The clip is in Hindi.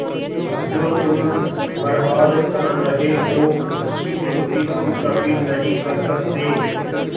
जो तुम बर्बाद कर रहे हो उसकी पूर्ति तुम कभी नहीं कर सकते